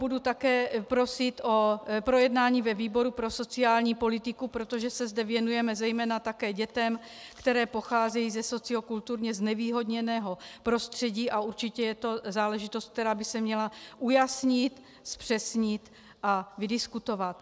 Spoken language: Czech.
Budu také prosit o projednání ve výboru pro sociální politiku, protože se zde věnujeme zejména také dětem, které pocházejí ze sociokulturně znevýhodněného prostředí, a určitě je to záležitost, která by se měla ujasnit, zpřesnit a vydiskutovat.